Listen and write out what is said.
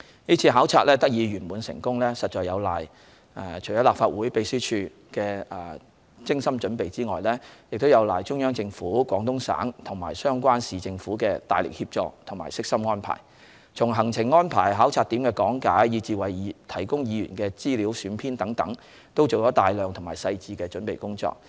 是次考察得以圓滿成功，除有賴立法會秘書處的精心準備外，亦有賴中央政府、廣東省及相關市政府的大力協助和悉心安排，從行程安排、考察點的講解，以至為議員提供的資料選編等，都做了大量細致的準備工作。